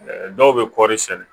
Dɔw bɛ kɔɔri sɛnɛ